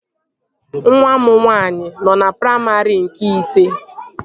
Nwa m nwaanyị nọ na praimarị nke isii